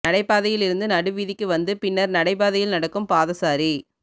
நடைபாதையில் இருந்து நடு வீதிக்கு வந்து பின்னர் நடைபாதையில் நடக்கும் பாதசாரி